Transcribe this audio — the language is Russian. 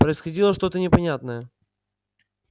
происходило что то непонятное